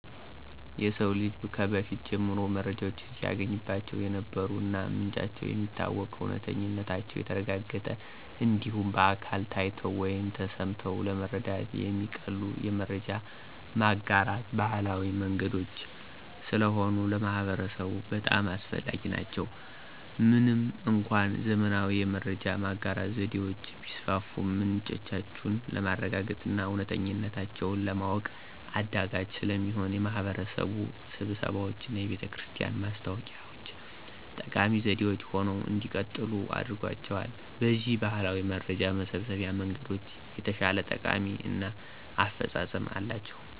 የሰው ልጅ ከበፊት ጀምሮ መረጃን ሲያገኝባቸው የነበሩ እና ምንጫቸው የሚታወቅ፣ እውነተኝነታቸው የተረጋገጠ እንዲሁም በአካል ታይተው ወይም ተሰምተው ለመረዳት የሚቀሉ የመረጃ ማጋራት ባህላዊ መንገዶች ስለሆኑ ለማህበረሰቡ በጣም አስፈላጊ ናቸው። ምንም እንኳን ዘመናዊ የመረጃ ማጋራት ዘዴዎች ቢስፋፉም ምንጮቹን ለማረጋገጥና እውነተኝነታቸውን ለማወቅ አዳጋች ስለሚሆን የማህበረሰብ ስብሰባዎችና የቤተክርስቲያን ማስታወቂያ ዎች ጠቃሚ ዘዴዎች ሆነው እንዲቀጥሉ አድርጓቸዋል። በዚህም ባህላዊ የመረጃ መሰብሰቢያ መንገዶች የተሻለ ጠቀሜታ እና አፈፃፀም አላቸው።